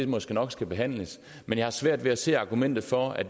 måske nok skal behandles men jeg har svært ved at se argumentet for at